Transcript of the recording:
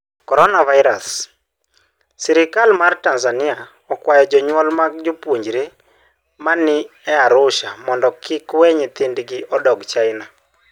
Coronavirus: Sirkal mar Tanzania okwayo jonyuol mag jopuonjre ma ni e rusa mondo kik we nyithindgi odog China